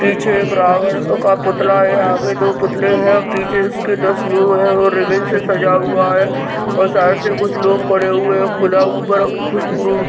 पीछे एक रावण का पुतला है आगे दो पुतले हैं पीछे उसके दस मुंह हैं और रिबन से सजा हुआ है और साइड से कुछ लोग खड़े हुए है | खुला ऊपर --